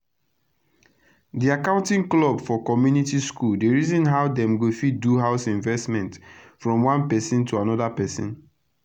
d accounting club for community school dey reason how dem go fit do house investment from one persin to anoda persin